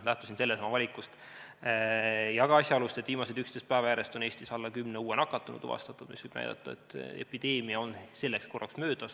Lähtusin sellest ja ka asjaolust, et viimased 11 päeva järjest on Eestis tuvastatud alla kümne uue nakatunu, mis võib näidata, et epideemia on selleks korraks möödas.